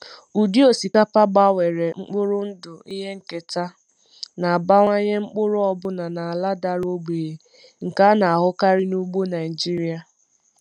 Ụdị osikapa gbanwere mkpụrụ ndụ ihe nketa na-abawanye mkpụrụ ọbụna n’ala dara ogbenye nke a na-ahụkarị n’ugbo Naijiria.